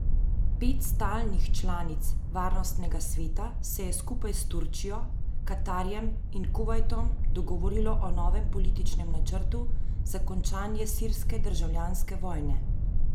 Pet stalnih članic varnostnega sveta se je skupaj s Turčijo, Katarjem in Kuvajtom dogovorilo o novem političnem načrtu za končanje sirske državljanske vojne.